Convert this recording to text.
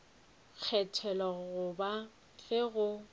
go kgethwa goba ge go